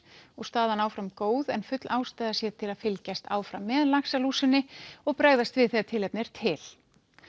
og staðan áfram góð en full ástæða sé til að fylgjast áfram með laxalúsinni og bregðast við þegar tilefni er til